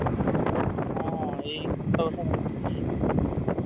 ହଁ ଏଇ ଗତ ବର୍ଷ ଭାଙ୍ଗି ଯାଇଥିଲା।